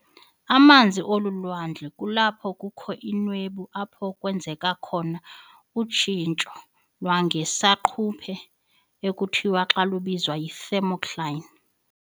emazantsi olu lwandle kulapho kukho inwebu apho kwenzeka khona utshintsho lwangesaquphe ekuthiwa xa lubizwa yi- "thermocline".